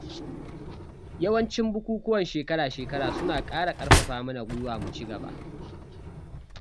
Yawancin bukukwan shekara-shekara suna ƙara ƙarfafa mana gwiwa mu ci gaba.